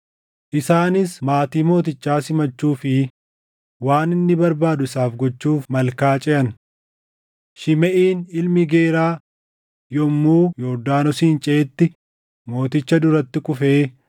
Isaanis maatii mootichaa simachuu fi waan inni barbaadu isaaf gochuuf malkaa ceʼan. Shimeʼiin ilmi Geeraa yommuu Yordaanosin ceʼetti mooticha duratti kufee